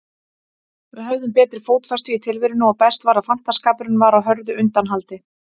Við höfðum betri fótfestu í tilverunni og best var, að fantaskapurinn var á hröðu undanhaldi.